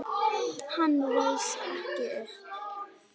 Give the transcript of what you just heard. Hann reis ekki upp.